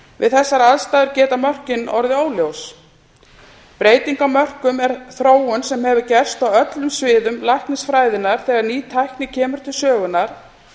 við þessar aðstæður geta mörkin orðið óljós breyting á mörkum er þróun sem hefur gerst á öllum sviðum læknisfræðinnar þegar ný tækni kemur til sögunnar